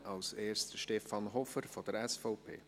als erster Stefan Hofer von der SVP.